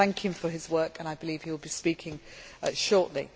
I thank him for his work and I believe he will be speaking shortly.